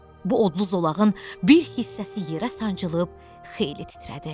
Bu odlu zolağın bir hissəsi yerə sancılıb xeyli titrədi.